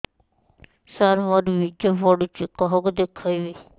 ସାର ମୋର ବୀର୍ଯ୍ୟ ପଢ଼ୁଛି କାହାକୁ ଦେଖେଇବି